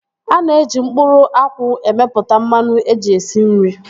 Ana eji mkpụrụ akwụ emeputa mmanụ eji esi nri